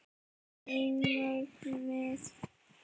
Mín markmið?